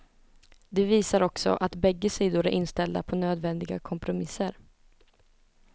De visar också att bägge sidor är inställda på nödvändiga kompromisser.